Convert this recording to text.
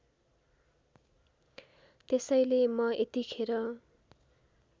त्यसैले म यतिखेर